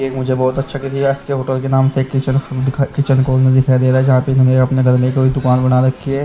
एक मुझे बहोत अच्छा करिया इसके होटल के नाम पे दिखाई दे रहा जहा पे घर में कोई दूकान बना रखी है।